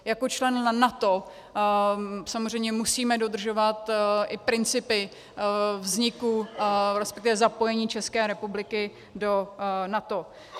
Jako člen NATO samozřejmě musíme dodržovat i principy vzniku, respektive zapojení České republiky do NATO.